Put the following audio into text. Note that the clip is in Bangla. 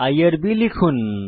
আইআরবি লিখুন